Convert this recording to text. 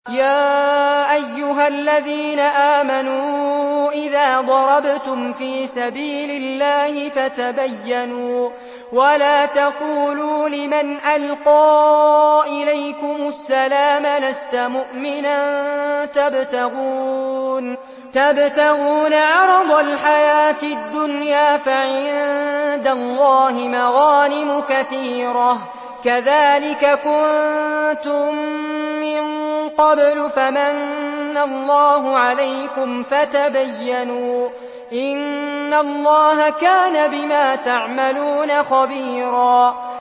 يَا أَيُّهَا الَّذِينَ آمَنُوا إِذَا ضَرَبْتُمْ فِي سَبِيلِ اللَّهِ فَتَبَيَّنُوا وَلَا تَقُولُوا لِمَنْ أَلْقَىٰ إِلَيْكُمُ السَّلَامَ لَسْتَ مُؤْمِنًا تَبْتَغُونَ عَرَضَ الْحَيَاةِ الدُّنْيَا فَعِندَ اللَّهِ مَغَانِمُ كَثِيرَةٌ ۚ كَذَٰلِكَ كُنتُم مِّن قَبْلُ فَمَنَّ اللَّهُ عَلَيْكُمْ فَتَبَيَّنُوا ۚ إِنَّ اللَّهَ كَانَ بِمَا تَعْمَلُونَ خَبِيرًا